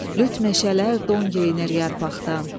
Lüt meşələr don geyinir yarpaqdan.